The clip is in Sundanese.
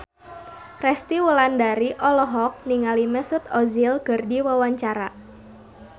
Resty Wulandari olohok ningali Mesut Ozil keur diwawancara